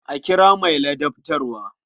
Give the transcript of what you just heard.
A kira mai ladabtarwa.